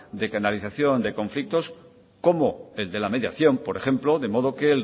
de canalización de conflictos como el de la mediación por ejemplo de modo que